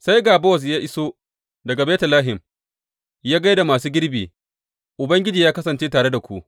Sai ga Bowaz ya iso daga Betlehem ya gai da masu girbi, Ubangiji yă kasance tare da ku!